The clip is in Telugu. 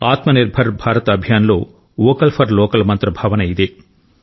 ఆత్మ నిర్భర్ భారత్ అభియాన్ లో వోకల్ ఫర్ లోకల్ మంత్ర భావన ఇదే